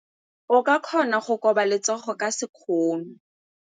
O ka kgona go koba letsogo ka sekgono.